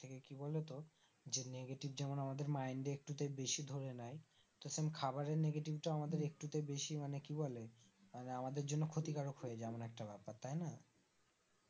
যেমন কি বলতো যে negative যেমন আমাদের mind এ একটুতে বেশি ধরে নেয় তো same খাবারের negative টাও আমাদের একটুতে বেশি মানে কি বলে আমাদের জন্য ক্ষতিকারক হয়ে যায় এমন একটা ব্যাপার তাইনা